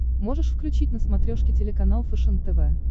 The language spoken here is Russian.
можешь включить на смотрешке телеканал фэшен тв